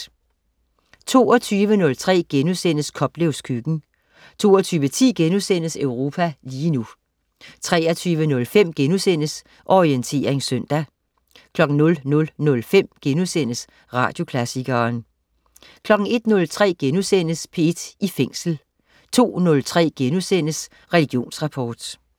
22.03 Koplevs Køkken* 22.10 Europa lige nu* 23.05 Orientering søndag* 00.05 Radioklassikeren* 01.03 P1 i Fængsel* 02.03 Religionsrapport*